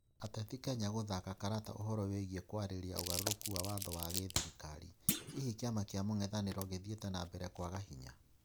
Ateti Kenya gũthaka karata ũhoro wĩgĩĩ kwarĩrĩria ũgarũrũku wa watho wa gĩthirikari. Hihi kiama kia mũng'ethaniro kĩthiĩte na mbere kwaga hinya?